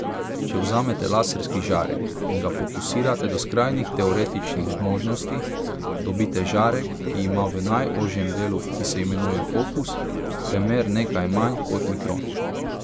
Če vzamete laserski žarek in ga fokusirate do skrajnih teoretičnih možnosti, dobite žarek, ki ima v najožjem delu, ki se imenuje fokus, premer nekaj manj kot mikron.